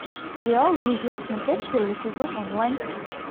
сериал друзья смотреть первый сезон онлайн